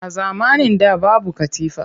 A zamanin da babu katifa